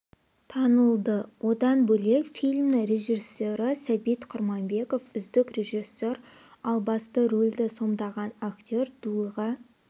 танылды одан бөлек фильмнің режиссері сәбит құрманбеков үздік режиссер ал басты рөлді сомдаған актер дулыға